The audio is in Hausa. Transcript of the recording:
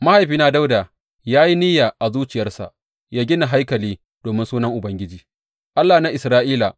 Mahaifina Dawuda ya yi niyya a zuciyarsa yă gina haikali domin Sunan Ubangiji, Allah na Isra’ila.